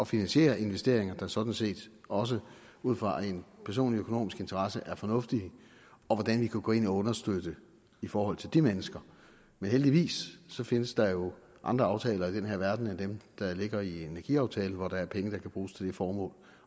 finansiere investeringer der sådan set også ud fra en personlig økonomisk interesse er fornuftige og hvordan vi kan gå ind og understøtte det i forhold til de mennesker men heldigvis findes der jo andre aftaler i den her verden end dem der ligger i energiaftalen hvor der er penge der kan bruges til det formål